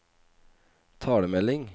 talemelding